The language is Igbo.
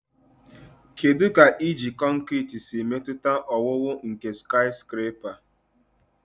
Kedu ka iji kọnkịtị siri metụta owuwu nke skiscrapa?